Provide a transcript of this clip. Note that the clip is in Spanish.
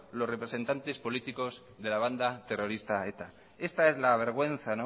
los representantes políticos de la banda terrorista eta esta es la vergüenza